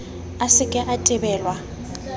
a se ke a tebelwa